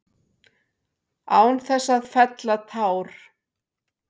Án þess að fella tár.